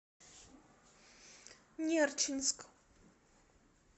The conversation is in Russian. нерчинск